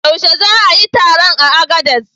Yaushe za a yi taron a Agades?